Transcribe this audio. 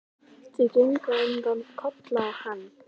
Þau gengu á undan, Kolla og hann.